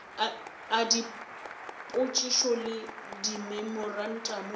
a dipotšišo le dimemorantamo e